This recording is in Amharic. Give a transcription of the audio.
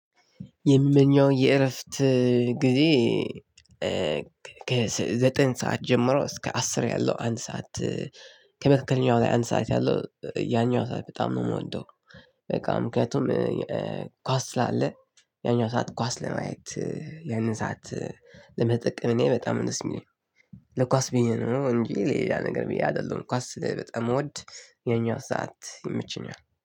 የምመኘው የእረፍት ጊዜ ከዘጠኝ ሰዓት ጀምሮ እስከ አስር ያለው አንድ ሰዓት ከመካከለኛው ላይ አንድ ሰዓት ያለው ያኛው ሰዓት በጣም ነው የምወደው። በቃ ምክንያቱም ኳስ ስላለ ያኛው ሰዓት ኳስ ለማየት ያንን ሰዓት ለመጠቀም እኔ በጣም ደስ የሚለኝ። ለኳስ ብዬ ነው እንጂ ሌላ ነገር ብዬ አይደለሁም ኳስ ስለ በጣም እምወድ። ይሀኛው ሰዓት ይመቸኛል